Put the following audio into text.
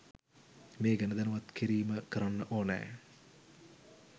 මේ ගැන දැනුවත් කිරීම කරන්න ඕනෑ